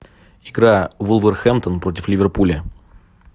игра вулверхэмптон против ливерпуля